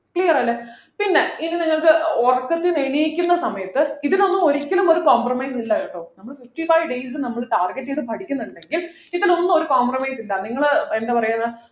clear അല്ലെ പിന്നെ ഇനി നിങ്ങൾക്ക് ഏർ ഉറക്കത്തിന്നു എണീക്കുന്ന സമയത്ത് ഇതിലൊന്നും ഒരിക്കലും ഒരു compromise ഉം ഇല്ല കേട്ടോ നമ്മള് fifty five days നമ്മള് target ചെയ്ത് പഠിക്കുന്നുണ്ടെങ്കിൽ ഇതിലൊന്നും ഒരു compromise ഇല്ല നിങ്ങള് എന്താ പറയുന്ന്